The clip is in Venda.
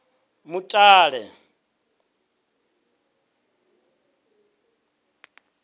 mutale